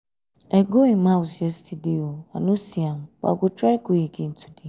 i go im house yesterday i no see am but i go try go again today